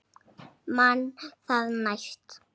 Man það næst!